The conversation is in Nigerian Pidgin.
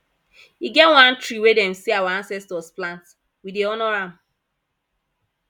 e get one tree wey dem sey our ancestors plant we dey honour am